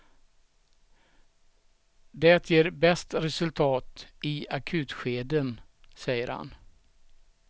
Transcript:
Det ger bäst resultat i akutskeden, säger han.